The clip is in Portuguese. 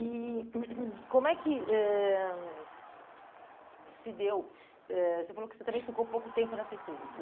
E como é que ãh se deu, eh você falou que você também ficou pouco tempo nessa empresa.